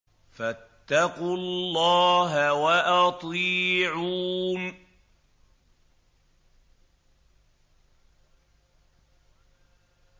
فَاتَّقُوا اللَّهَ وَأَطِيعُونِ